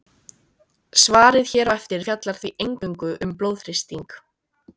Svarið hér á eftir fjallar því eingöngu um blóðþrýsting.